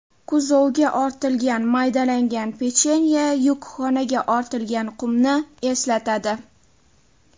Kuzovga ortilgan maydalangan pechenye yukxonaga ortilgan qumni eslatadi.